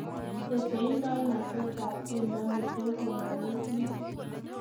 Teseindonatetab tyendo ni ko kogelik muut